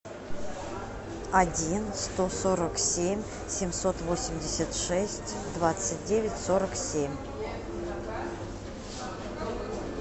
один сто сорок семь семьсот восемьдесят шесть двадцать девять сорок семь